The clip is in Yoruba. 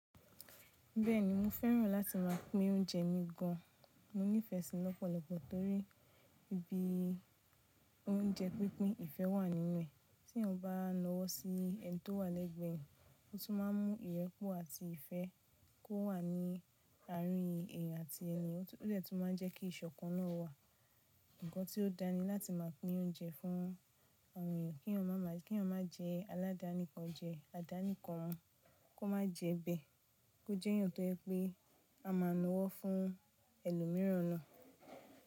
Bẹ́ẹ̀ni mo fẹ́ràn láti máa pín oúnjẹ mi gan an. Mo nífẹ̀ẹ́ sí i lọ́pọ̀lọpọ̀ torí ibi oúnjẹ pínpín, ìfẹ́ wà nínú ẹ̀. Tí eniyan bá nàwọ́ sí ẹni tó wà lẹ́gbẹ̀ẹ́ eeyan, o tún máa ń mú ìrẹ́pọ̀ àti ìfẹ́ kó wà ní àárín èèyàn àti èni yen, ó de tún máa jẹ́ kí ìṣọ̀kan náà wà. Ǹkan tí ó da ni láti máa pín oúnjẹ fún àwọn èèyàn kí eeyan má jẹ́ aládàání kan jẹ, àdá níkan mu, kó má jẹ́ bẹ́ẹ̀. Kó j'ẹ́yàn tó je pé a máa nàwọ́ fún ẹlòmíràn náà.